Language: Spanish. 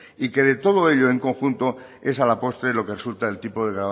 y de que todo ello en conjunto es a la postre lo que resulta el tipo de